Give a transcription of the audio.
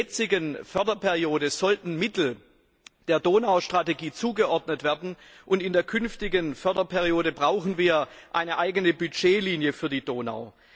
In der jetzigen Förderperiode sollten der Donau Strategie Mittel zugewiesen werden, und in der künftigen Förderperiode brauchen wir eine eigene Budgetlinie für die Donau.